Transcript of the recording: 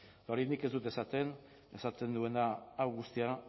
eta hori nik ez dut esaten esaten duena hau guztia